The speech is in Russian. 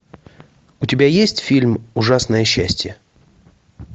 у тебя есть фильм ужасное счастье